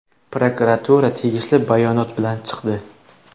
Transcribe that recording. Prokuratura tegishli bayonot bilan chiqdi.